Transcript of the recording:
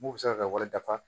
Mun bɛ se ka kɛ wali dafa